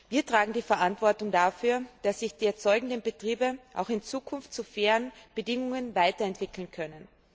Wir tragen die Verantwortung dafür, dass sich die erzeugenden Betriebe auch in Zukunft zu fairen Bedingungen weiterentwickeln können.